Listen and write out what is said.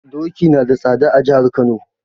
Doki nada tsada a jihar Kano.